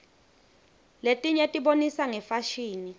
letinye tibonisa ngefashini